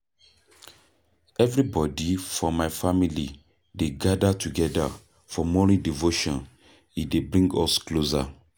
Everybodi for my family dey gather togeda for morning devotion, e dey bring us closer